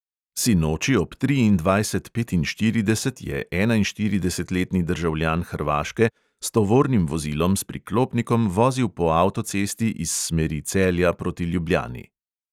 Sinoči ob triindvajset petinštirideset je enainštiridesetletni državljan hrvaške s tovornim vozilom s priklopnikom vozil po avtocesti iz smeri celja proti ljubljani.